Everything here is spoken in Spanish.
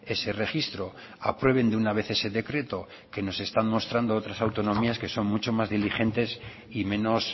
ese registro aprueben de una vez ese decreto que nos están mostrando otras autonomías que son muchos más dirigentes y menos